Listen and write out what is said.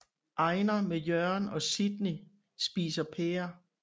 Einar med Jørgen og Sidney spiser pærer